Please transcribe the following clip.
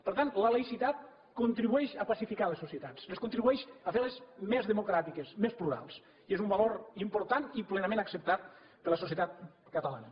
per tant la laïcitat contribueix a pacificar les societats contribueix a fer les més democràtiques més plurals i és un valor important i plenament acceptat per la societat catalana